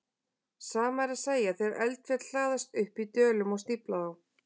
Sama er að segja þegar eldfjöll hlaðast upp í dölum og stífla þá.